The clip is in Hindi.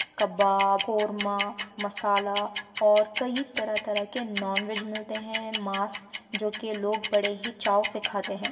कबाब कोरमा मसाला और कई तरह तरह के नॉनवेज मिलते है मास जो के लोग बड़े ही चाव से खाते है।